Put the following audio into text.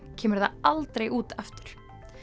kemur það aldrei út aftur